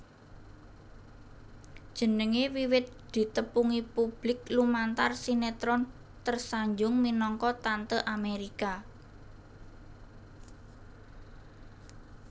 Jenengé wiwit ditepungi publik lumantar sinétron Tersanjung minangka Tante Amérika